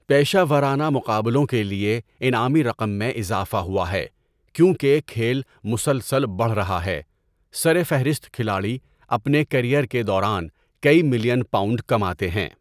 پیشہ ورانہ مقابلوں کے لیے انعامی رقم میں اضافہ ہوا ہے کیونکہ کھیل مسلسل بڑھ رہا ہے، سرفہرست کھلاڑی اپنے کیریئر کے دوران کئی ملین پاؤنڈ کماتے ہیں۔